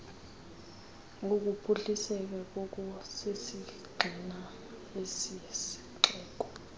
wokuphuhliseka ngokusisigxina kwesixeko